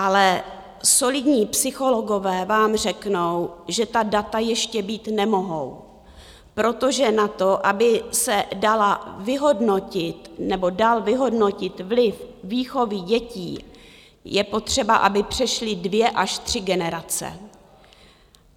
Ale solidní psychologové vám řeknou, že ta data ještě být nemohou, protože na to, aby se dala vyhodnotit nebo dal vyhodnotit vliv výchovy dětí, je potřeba, aby přešly dvě až tři generace.